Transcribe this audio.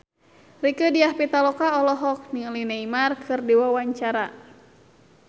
Rieke Diah Pitaloka olohok ningali Neymar keur diwawancara